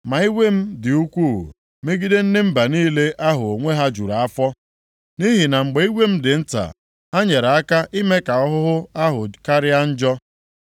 ma iwe m dị ukwuu megide ndị mba niile ahụ onwe ha juru afọ. Nʼihi na mgbe iwe m dị nta, ha nyere aka ime ka ahụhụ ahụ karịa njọ.’